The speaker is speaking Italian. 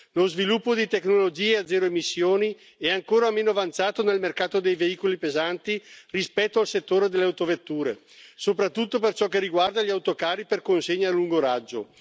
Lo sviluppo di tecnologie a zero emissioni è ancora meno avanzato nel mercato dei veicoli pesanti rispetto al settore delle autovetture, soprattutto per ciò che riguarda gli autocarri per consegna a lungo raggio.